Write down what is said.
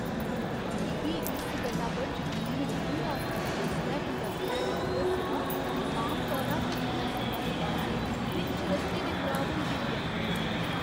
मिगी इस गल्ला पर जकीन नेईं होआ जिसलै कंडक्टरै मिगी दस्सेआ जे आम तौरा पर भरोसेमंद बस्स बिच्च रस्ते दे खराब होई गेई ऐ!